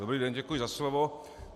Dobrý den, děkuji za slovo.